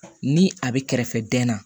Ni a be kɛrɛfɛ dɛn na